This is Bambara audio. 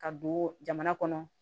Ka don jamana kɔnɔ